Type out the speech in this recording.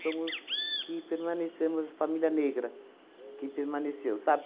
Somos que permanecemos... Família negra que permaneceu, sabe?